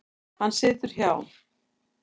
Hann situr hjá